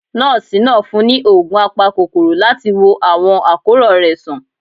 Nọ́ọ̀sì naa fún ni òògùn àpákokoró latí wò awọn akoran rẹ sàn